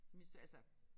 Mit altså